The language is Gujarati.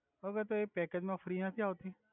ઓકે તો એ પેકેજ મા ફ્રિ નથી આવ્તી